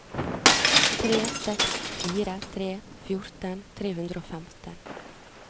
tre seks fire tre fjorten tre hundre og femten